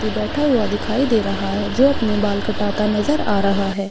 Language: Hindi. व्यक्ति बैठा हुआ दिखाई दे रहा है जो अपने बाल कटाता नजर आ रहा है।